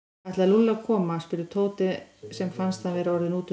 Ætlaði Lúlli að koma? spurði Tóti sem fannst hann vera orðinn útundan.